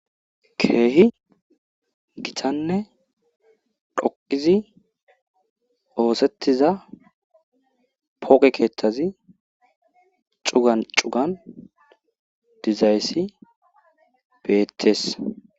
Keehi gitanne dhoqizi oosetiza phooqe keethazi cugan cugan dizayssi beetees.